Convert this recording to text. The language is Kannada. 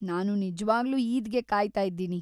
ನಾನು ನಿಜವಾಗ್ಲೂ ಈದ್‌ಗೆ ಕಾಯ್ತಾ ಇದ್ದೀನಿ.